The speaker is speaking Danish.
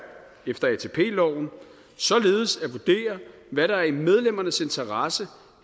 efter atp loven således at vurdere hvad der er i medlemmernes interesser